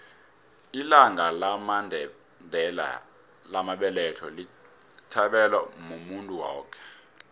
ilanga lamandela lamabeletho lithabelwa muntu woke